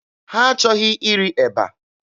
Ha achọghị iri eba.